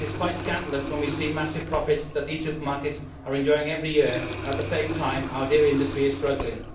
It is quite scandalous when we see the massive profits that these supermarkets are enjoying every year and at the same time our dairy industry is struggling.